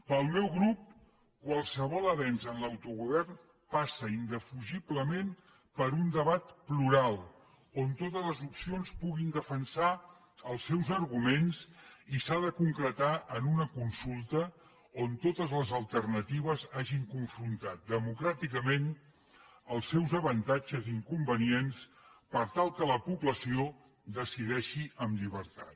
per al meu grup qualsevol avenç en l’autogovern passa indefugiblement per un debat plural on totes les opcions puguin defensar els seus arguments i s’ha de concretar en una consulta on totes les alternatives hagin confrontat democràticament els seus avantatges i inconvenients per tal que la població decideixi amb llibertat